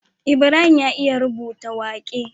Ibrahim ya iya rubuta waƙe